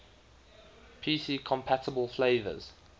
pc compatible flavors